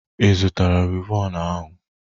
Ị zụtara wivọnụ ahụ?